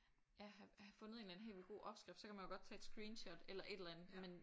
Ja have have fundet en eller anden helt vildt god opskrift så kan man jo godt tage et screenshot eller et eller andet men